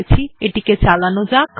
এবার এই ফাইলটিকে চালানো যাক